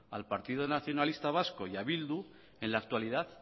al partido nacionalista vasco y a eh bildu en la actualidad